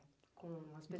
Com as...